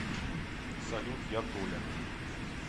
салют я толя